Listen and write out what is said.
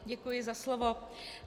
Děkuji za slovo.